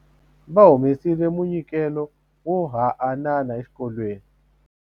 Va humesile munyikelo wo haanana exikolweni.